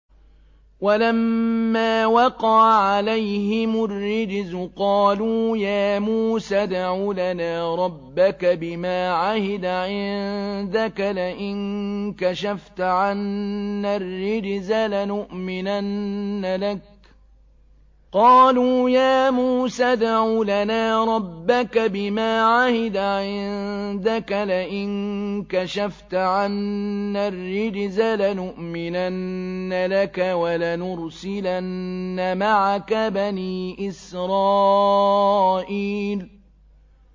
وَلَمَّا وَقَعَ عَلَيْهِمُ الرِّجْزُ قَالُوا يَا مُوسَى ادْعُ لَنَا رَبَّكَ بِمَا عَهِدَ عِندَكَ ۖ لَئِن كَشَفْتَ عَنَّا الرِّجْزَ لَنُؤْمِنَنَّ لَكَ وَلَنُرْسِلَنَّ مَعَكَ بَنِي إِسْرَائِيلَ